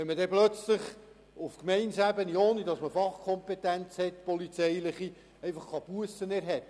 Wenn man plötzlich auf Gemeindeebene Bussen erheben kann, ohne die polizeiliche Fachkompetenz zu haben, beisst sich das.